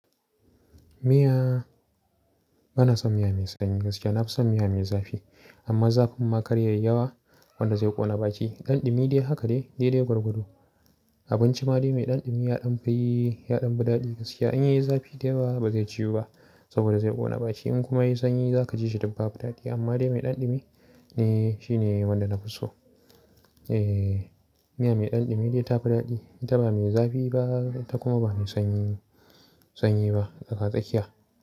Miya, bana son miya mai sanyi gaskiya. Na fi son miya mai zafi. Amma zafin ma kar yayi yawa wanda zai ƙona baki. Ɗanɗumi dai haka de, dai dai gwargwado. Abinci ma dai mai ɗanɗumi, yaɗan fi, yaɗan fi daɗi gaskiya. In yayi zafi da yawa ba zai ciwu ba saboda zai ƙona baki. In kuma yayi sanyi za ka ji shi tabbas ba daɗi. Amma dai mai ɗanɗumi ne shi ne wanda na fi so. Eh, miya mai ɗanɗumi dai ta fi daɗi. Ta ba mai zafi ba ta kuma ba mai sanyi, sanyi ba tsaka tsakiya.